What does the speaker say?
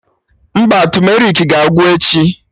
Mba, tumerik ga-agwụ echi